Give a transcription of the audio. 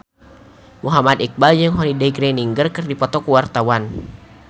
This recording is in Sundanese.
Muhammad Iqbal jeung Holliday Grainger keur dipoto ku wartawan